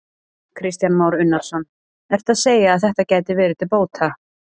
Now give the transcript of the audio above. Kristján Már Unnarsson: Ertu að segja að þetta gæti verið til bóta?